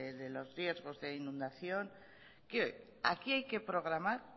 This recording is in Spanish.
de los riesgos de inundación aquí hay que programar